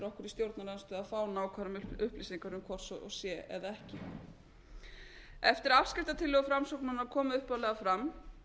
stjórnarandstöðu að fá nákvæmar upplýsingar um hvort sé eða ekki eftir að afskriftatillögur framsóknarmanna komu upphaflega fram